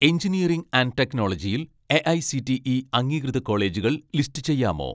engineering and ടെക്നോളജിയിൽ AICTE അംഗീകൃത കോളേജുകൾ ലിസ്റ്റ് ചെയ്യാമോ